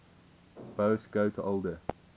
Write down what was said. boas got older